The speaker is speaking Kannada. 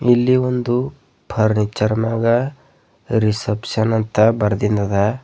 ಇಲ್ಲಿ ಒಂದು ಫರ್ನಿಚರ್ ಮ್ಯಾಗ ರಿಸೆಪ್ಶನ್ ಅಂತ ಬರ್ದಿನ್ದ ಅದ.